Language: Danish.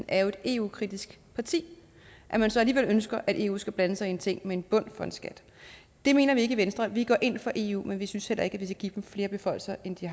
er et eu kritisk parti at man så alligevel ønsker at eu skal blande sig i ting som en bund for en skat det mener vi ikke i venstre vi går ind for eu men vi synes heller ikke at vi vil give dem flere beføjelser end de